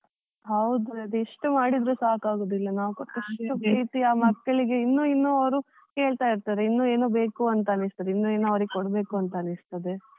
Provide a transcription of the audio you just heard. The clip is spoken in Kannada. ಹೌದು, ಅದ್ ಎಷ್ಟ್ ಮಾಡಿದ್ರು ಸಾಕಾಗೋದಿಲ್ಲ ನಾವು ಕೊಟ್ಟಷ್ಟು ಪ್ರೀತಿ ಆ ಮಕ್ಕಳಿಗೆ ಇನ್ನು ಇನ್ನು ಅವ್ರು ಕೇಳ್ತಾ ಇರ್ತಾರೆ, ಇನ್ನು ಏನೋ ಬೇಕು ಅಂತ ಅನ್ನಿಸ್ತದೆ ಇನ್ನು ಏನೋ ಅವರಿಗೆ ಕೊಡ್ಬೇಕು ಅನ್ನಿಸ್ತದೆ .